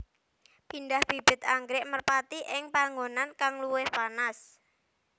Pindah bibit anggrèk merpati ing panggonan kang luwih panas